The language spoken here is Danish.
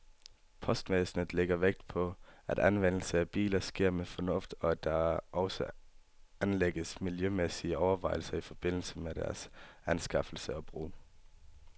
Postvæsenet lægger vægt på, at anvendelsen af biler sker med fornuft, og at der også anlægges miljømæssige overvejelser i forbindelse med deres anskaffelse og brug.